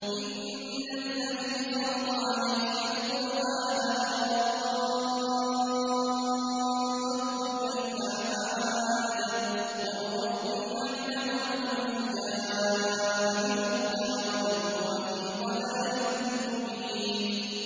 إِنَّ الَّذِي فَرَضَ عَلَيْكَ الْقُرْآنَ لَرَادُّكَ إِلَىٰ مَعَادٍ ۚ قُل رَّبِّي أَعْلَمُ مَن جَاءَ بِالْهُدَىٰ وَمَنْ هُوَ فِي ضَلَالٍ مُّبِينٍ